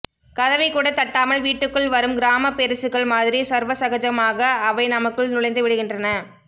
கதவைக்கூடத் தட்டாமல் வீட்டுக்குள் வரும் கிராமப்பெரிசுகள் மாதிரி சர்வசகஜமாக அவை நமக்குள் நுழைந்துவிடுகின்றன